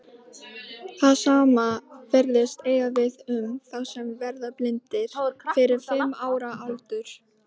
Það sama virðist eiga við um þá sem verða blindir fyrir fimm ára aldur.